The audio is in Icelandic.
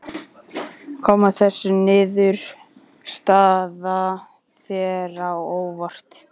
Kom þessi niðurstaða þér á óvart?